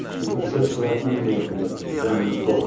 пришлось его отменять блять гандон